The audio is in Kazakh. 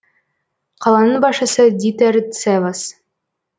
қаланың басшысы дитер дцевас